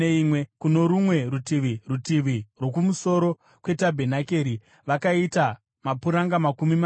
Kuno rumwe rutivi, rutivi rwokumusoro kwetabhenakeri, vakaita mapuranga makumi maviri